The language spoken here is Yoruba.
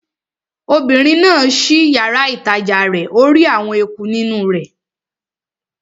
Obìnrin náà ṣí yàrá-ìtajà rẹ̀ ó rí àwọn eku nínú rẹ̀